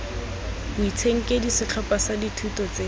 boitshenkedi setlhopha sa dithuto tse